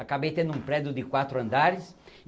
Acabei tendo um prédio de quatro andares.